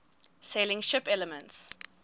sailing ship elements